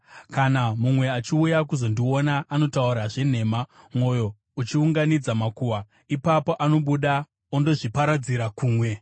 Kana mumwe achiuya kuzondiona, anotaura zvenhema, mwoyo uchiunganidza makuhwa; ipapo anobuda ondozviparadzira kumwe.